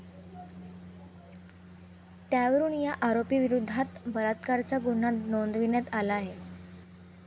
त्यावरून या आरोपीविरोधात बलात्काराचा गुन्हा नोंदविण्यात आलाय.